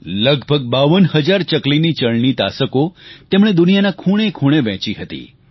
લગભગ 52 હજાર ચકલીની ચણની તાસકો તેમણે દુનિયાના ખૂણેખૂણે વહેંચી હતી